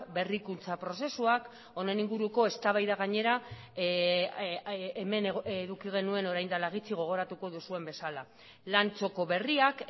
berrikuntza prozesuak honen inguruko eztabaida gainera hemen eduki genuen orain dela gutxi gogoratuko duzuen bezala lan txoko berriak